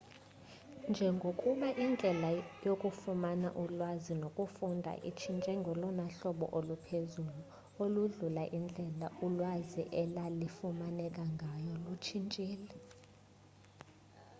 njengokuba indlela yokufumana ulwazi nokufunda intshintshe ngolona hlobo oluphezulu oludlula indlela ulwazi elalifumaneka ngayo lutshintshile